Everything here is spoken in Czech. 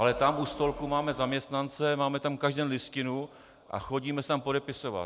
Ale tam u stolku máme zaměstnance, máme tam každý den listinu a chodíme se tam podepisovat.